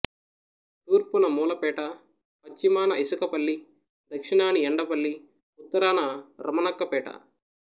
తూర్పున మూలపేట పశ్చిమాన ఇసుకపల్లి దక్షిణాని ఎండపల్లి ఉత్తరాన రమణక్కపేట